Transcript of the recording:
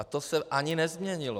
A to se ani nezměnilo.